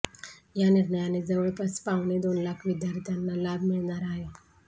या निर्णयाने जवळपास पावणे दोन लाख विद्यार्थ्यांना लाभ मिळणार आहे